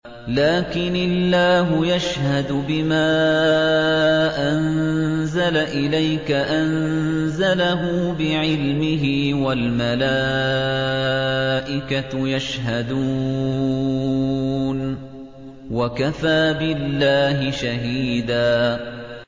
لَّٰكِنِ اللَّهُ يَشْهَدُ بِمَا أَنزَلَ إِلَيْكَ ۖ أَنزَلَهُ بِعِلْمِهِ ۖ وَالْمَلَائِكَةُ يَشْهَدُونَ ۚ وَكَفَىٰ بِاللَّهِ شَهِيدًا